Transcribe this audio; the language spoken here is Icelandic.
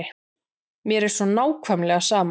Mér er svo nákvæmlega sama.